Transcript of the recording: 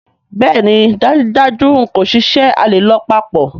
Bẹẹni dajudaju n ko ṣiṣẹ, a le lọ papọ̀.